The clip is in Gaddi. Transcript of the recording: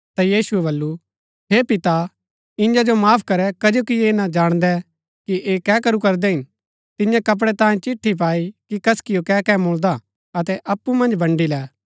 ता यीशुऐ बल्लू हे पिता ईयां जो माफ करै कजो कि ऐह ना जाणदै कि ऐह कै करू करदै हिन तियें कपड़ै तांयें चिट्ठी पाई की कसिओ कै कै मुळदा अतै अप्पु मन्ज बन्डी लै